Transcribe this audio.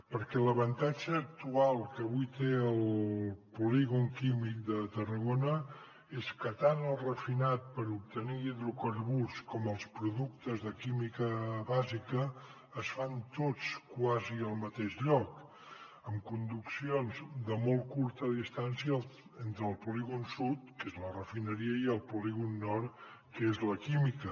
perquè l’avantatge actual que avui té el polígon químic de tarragona és que tant la refinació per obtenir hidrocarburs com els productes de química bàsica es fan tots quasi al mateix lloc amb conduccions de molt curta distància entre el polígon sud que és la refineria i el polígon nord que és la química